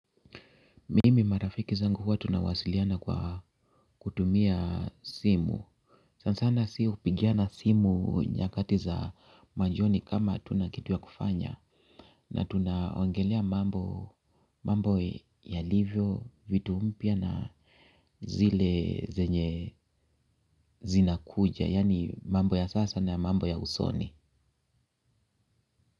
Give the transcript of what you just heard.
Mimi marafiki zangu huwa tunawasiliana kwa kutumia simu. Sana sana sisi upigiana simu nyakati za majioni kama hatuna kitu kufanya. Na tunaongelea mambo yalivyo, vitu mpya na zile zenye zinakuja. Yani mambo ya sasa na mambo ya usoni.